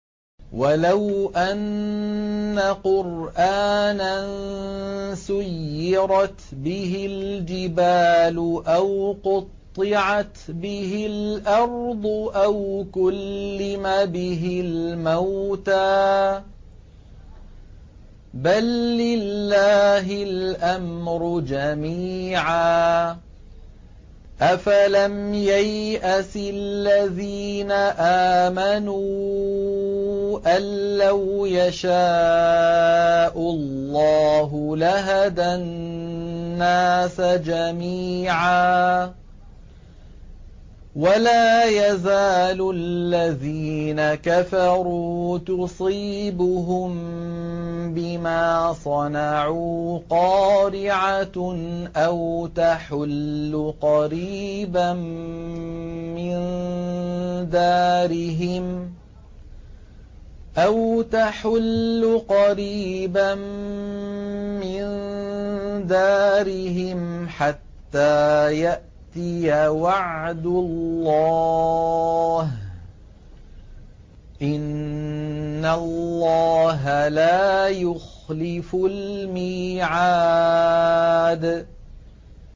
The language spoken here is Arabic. وَلَوْ أَنَّ قُرْآنًا سُيِّرَتْ بِهِ الْجِبَالُ أَوْ قُطِّعَتْ بِهِ الْأَرْضُ أَوْ كُلِّمَ بِهِ الْمَوْتَىٰ ۗ بَل لِّلَّهِ الْأَمْرُ جَمِيعًا ۗ أَفَلَمْ يَيْأَسِ الَّذِينَ آمَنُوا أَن لَّوْ يَشَاءُ اللَّهُ لَهَدَى النَّاسَ جَمِيعًا ۗ وَلَا يَزَالُ الَّذِينَ كَفَرُوا تُصِيبُهُم بِمَا صَنَعُوا قَارِعَةٌ أَوْ تَحُلُّ قَرِيبًا مِّن دَارِهِمْ حَتَّىٰ يَأْتِيَ وَعْدُ اللَّهِ ۚ إِنَّ اللَّهَ لَا يُخْلِفُ الْمِيعَادَ